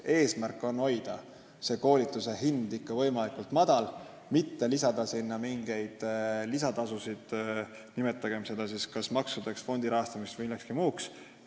Eesmärk on hoida koolituse hind võimalikult madalal, mitte lisada sinna mingeid lisatasusid, nimetagem neid kas maksudeks, fondi rahastamiseks või millekski muuks.